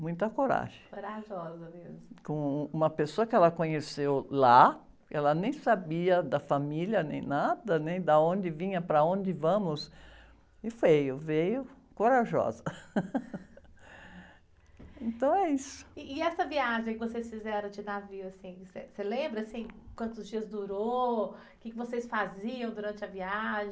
muita coragem.orajosa mesmo.om uma pessoa que ela conheceu lá ela nem sabia da família nem nada nem da onde vinha para onde vamos e veio, veio corajosa, então, é isso., e essa viagem que vocês fizeram de navio, assim, você, você lembra assim quantos dias durou quê que vocês faziam durante a viagem